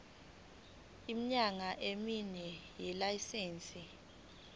iminyaka emine yelayisense